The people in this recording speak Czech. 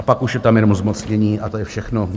A pak už je tam jenom zmocnění, a to je všechno.